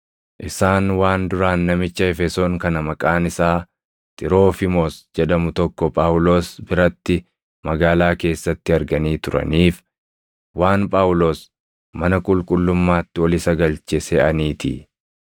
Isaan waan duraan namicha Efesoon kan maqaan isaa Xiroofiimoos jedhamu tokko Phaawulos biratti magaalaa keessatti arganii turaniif, waan Phaawulos mana qulqullummaatti ol isa galche seʼaniitii.